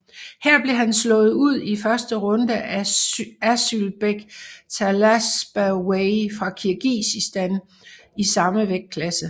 Her blev han slået ud i første runde af Asylbek Talasbayev fra Kirgisistan i samme vægtklasse